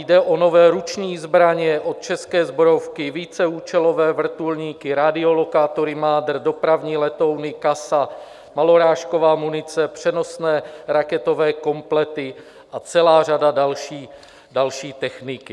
Jde o nové ruční zbraně od České zbrojovky, víceúčelové vrtulníky, radiolokátory MADR, dopravní letouny CASA, malorážková munice, přenosné raketové komplety a celá řada další techniky.